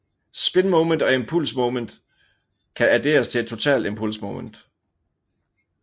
Spinmoment og impulsmoment kan adderes til et totalt impulsmoment J